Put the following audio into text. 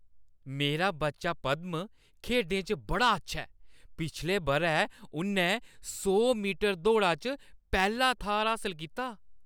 मेरा बच्चा पद्‌म खेढें च बड़ा अच्छा ऐ। पिछले बʼरै उन्नै सौ मीटर दौड़ा च पैह्‌ला थाह्‌र हासल कीता।